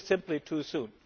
It is simply too soon.